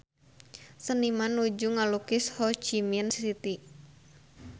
Seniman nuju ngalukis Ho Chi Minh City